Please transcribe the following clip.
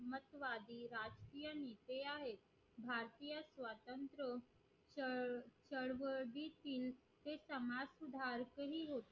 राष्ट्रवादी राजकीय नेते आहेत भारतीय स्वातंत्र्य चळवळीचे समाज सुधारकही होते